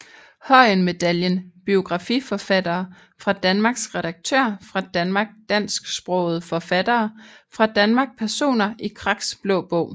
Høyen Medaljen Biografiforfattere fra Danmark Redaktører fra Danmark Dansksprogede forfattere fra Danmark Personer i Kraks Blå Bog